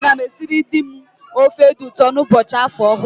A gam esịrị di m ofe di ụtọ n'ụbọchị afọ ọhụrụ